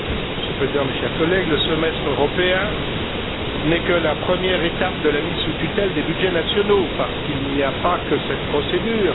Monsieur le Président, chers collègues, le semestre européen n'est que la première étape de la mise sous tutelle des budgets nationaux, parce qu'il n'y a pas que cette procédure.